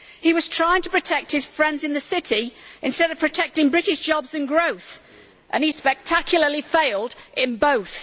He was trying to protect his friends in the City instead of protecting British jobs and growth, and he spectacularly failed in both.